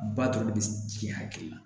Ba dɔrɔn bɛ ji hakili la